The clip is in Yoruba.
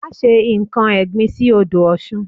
Má se nkan ẹ̀gbin sí odò Ọ̀sun